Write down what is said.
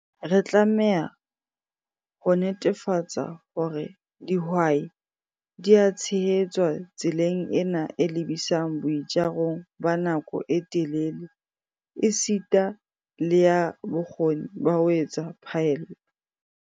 Re tlameha ho netefatsa hore dihwai di a tshehetswa tseleng ena e lebisang boi tjarong ba nako e telele esita le ya bokgoni ba ho etsa phaello.